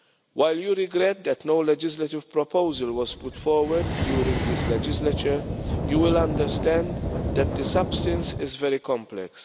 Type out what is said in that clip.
While you regret that no legislative proposal was put forward during this legislature, you will understand that the substance is very complex.